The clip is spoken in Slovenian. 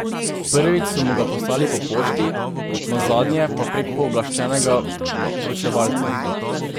Prvič so mu ga poslali po pošti, nazadnje pa prek pooblaščenega vročevalca.